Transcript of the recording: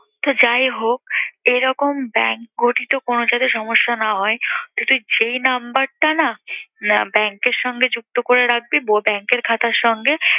তো যাই হোক, এরকম bank ঘটিত কোন জায়গায় সমস্যা না হয় তো তুই যেই number টা না bank এর সাথে যুক্ত করে রাখবি~ব bank এর খাতার সঙ্গে